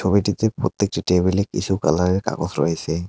ছবিটিতে প্রত্যেকটি টেবিলে কিছু কালারের কাগজ রয়েসে।